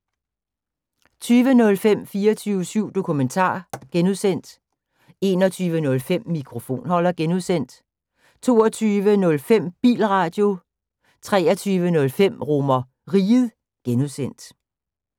20:05: 24syv Dokumentar (G) 21:05: Mikrofonholder (G) 22:05: Bilradio 23:05: RomerRiget (G)